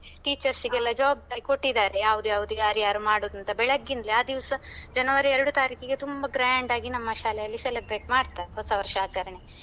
Teachers ಗೆಲ್ಲ ಜವಾಬ್ದಾರಿ ಕೊಟ್ಟಿದ್ದಾರೆ ಯಾವ್ದ್ಯಾವ್ದು ಯಾರ್ಯಾರು ಮಾಡುದು ಅಂತ ಬೆಳಿಗಿಂದ್ಲೇ. ಆ ದಿವ್ಸ ಜನವರಿ ಎರಡು ತಾರೀಖಿಗೆ ತುಂಬ grand ಆಗಿ ನಮ್ಮ ಶಾಲೆಯಲ್ಲಿ celebrate ಮಾಡ್ತಾರೆ ಹೊಸವರ್ಷ ಆಚರಣೆ.